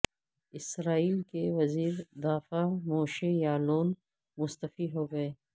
اسرائیل کے وزیر دفاع موشے یالون مستعفی ہو گئے